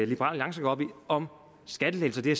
liberal alliance godt ved om skattelettelser det